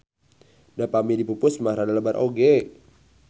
Da pami dipupus mah rada lebar oge.